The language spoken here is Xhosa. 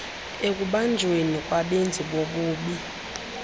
ekubanjweni kwabenzi bobubi